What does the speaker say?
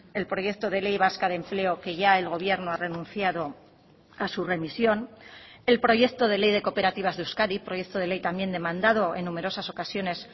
el proyecto de ley vasca de empleo que ya el gobierno ha renunciado a su remisión el proyecto de ley de cooperativas de euskadi proyecto de ley también demandado en numerosas ocasiones